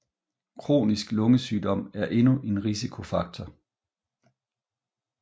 Kronisk lungesygdom er endnu en risikofaktor